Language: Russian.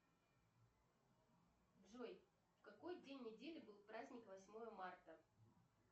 джой в какой день недели был праздник восьмое марта